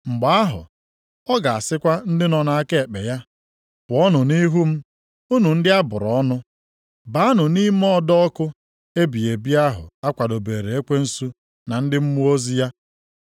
“Mgbe ahụ ọ ga-asịkwa ndị nọ nʼaka ekpe ya, ‘Pụọnụ nʼihu m unu ndị a bụrụ ọnụ. Baanụ nʼime ọdọ ọkụ ebighị ebi ahụ a kwadobeere ekwensu na ndị mmụọ ozi ya.